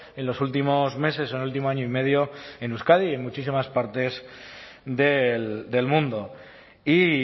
en los últimos meses en el último año y medio en euskadi y en muchísimas partes del mundo y